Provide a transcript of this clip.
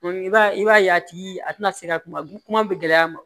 i b'a ye i b'a ye a tigi a tɛna se ka kuma bɛ gɛlɛya ma